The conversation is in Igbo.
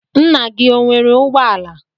Nna gị o nwere ụgbọala?